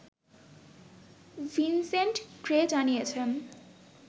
Vincent Gray জানিয়েছেন